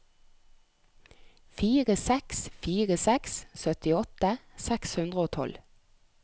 fire seks fire seks syttiåtte seks hundre og tolv